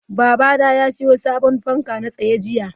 Babana ya siyo sabon fanka na tsaye jiya.